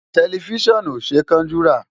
Tẹlifíṣàn ò ṣe é kánjú rà.